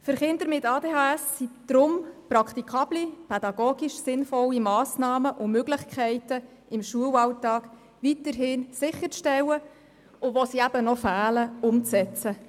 Für Kinder mit ADHS sind deshalb praktikable, pädagogisch sinnvolle Massnahmen und Möglichkeiten im Schulalltag weiterhin sicherzustellen und wo sie noch fehlen, umzusetzen.